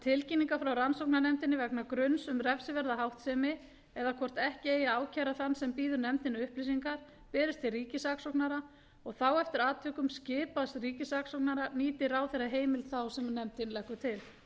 tilkynningar frá rannsóknarnefndinni vegna gruns um refsiverða háttsemi eða hvort ekki eigi að ákæra þann sem býður nefndinni upplýsingar berist til ríkissaksóknara og þá eftir atvikum skipaðs ríkissaksóknara nýti ráðherra heimild þá sem nefndin leggur til